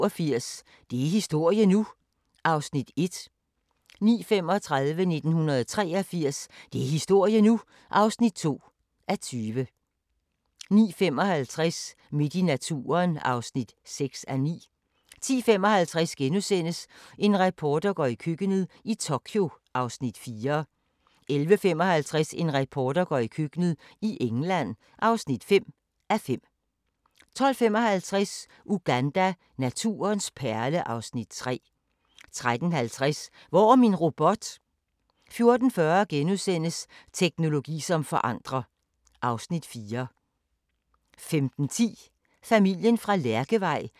15:40: Felix og vagabonden (3:8)* 16:10: Felix og vagabonden (4:8)* 16:40: Den usynlige natur (1:3) 17:30: Den amerikanske mafia: Den første krig (2:8)* 18:10: Husker du ... 1991 19:00: Felix og vagabonden (5:8) 19:30: Felix og vagabonden (6:8) 20:00: Under mistanke – vildspor (2:3) 21:55: Udkantsmæglerne II (6:10)* 23:00: Hemmelige amerikanske missioner (3:8)